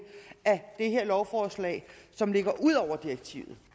af det her lovforslag som ligger ud over direktivet